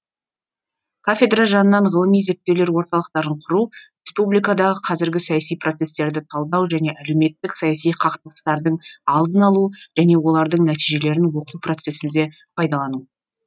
кафедра жанынан ғылыми зерттеулер орталықтарын құру республикадағы қазіргі саяси процестерді талдау және әлеуметтік саяси қақтығыстардың алдын алу және олардың нәтижелерін оқу процесінде пайдалану